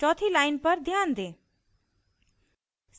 चौथी line पर ध्यान दें